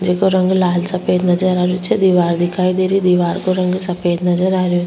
जेको रंग लाल सफ़ेद नज़र आ रेहो छे दिवार दिखाई दे री दिवार को रंग सफ़ेद नजर आ रेहो --